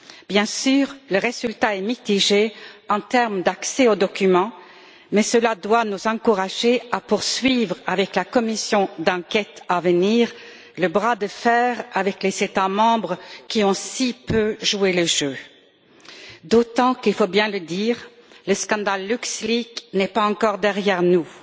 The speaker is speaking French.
Bien sûr, le résultat est mitigé en termes d'accès aux documents, mais cela doit nous encourager à poursuivre, avec la commission d'enquête à venir, le bras de fer avec les États membres qui ont si peu joué le jeu, d'autant qu'il faut bien le dire, le scandale LuxLeaks n'est pas encore derrière nous.